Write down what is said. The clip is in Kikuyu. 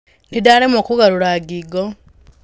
Nĩ ndĩraremwo kũgarũra ngingo.